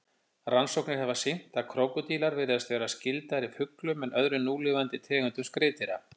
Rannsóknir hafa sýnt að krókódílar virðast vera skyldari fuglum en öðrum núlifandi tegundum skriðdýra.